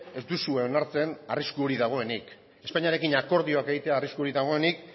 ez duzue onartzen arrisku hori dagoenik espainiarekin akordioak egitea arriskurik dagoenik